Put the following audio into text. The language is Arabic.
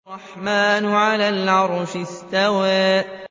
الرَّحْمَٰنُ عَلَى الْعَرْشِ اسْتَوَىٰ